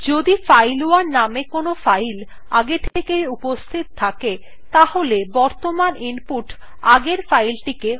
যদি file1 name কোনো file আগে থেকেই উপস্হিত থাকে তাহলে বর্তমান input আগের fileটিকে overwrite করে দেবে